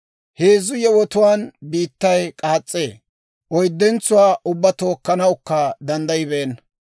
Heezzu yewotuwaan biittay k'aas's'ee; oyddentsuwaa ubbaa tookkanawukka danddayibeenna.